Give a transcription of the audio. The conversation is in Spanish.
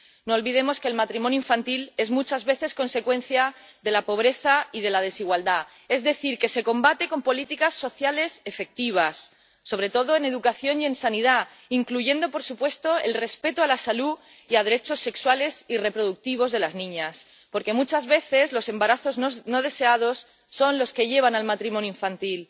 No olvidemos que el matrimonio infantil es muchas veces consecuencia de la pobreza y de la desigualdad, es decir, que se combate con políticas sociales efectivas, sobre todo en educación y en sanidad, incluyendo, por supuesto, el respeto a la salud y a los derechos sexuales y reproductivos de las niñas porque, muchas veces, los embarazos no deseados son los que llevan al matrimonio infantil.